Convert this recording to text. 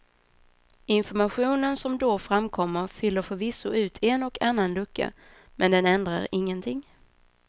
Informationen som då framkommer fyller förvisso ut en och annan lucka, men den ändrar ingenting.